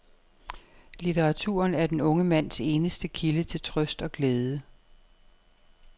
Litteraturen er den unge mands eneste kilde til trøst og glæde.